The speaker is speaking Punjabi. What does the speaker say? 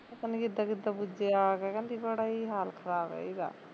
ਪਤਾ ਨੀ ਕਿੱਦਾਂ ਕਿੱਦਾਂ ਪੁੱਜਿਆ ਆ ਕੇ ਕਹਿੰਦੀ ਬੜਾ ਈ ਹਾਲ ਖਰਾਬ ਐ ਇਹਦਾ